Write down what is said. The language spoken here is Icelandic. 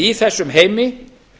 í þessum heimi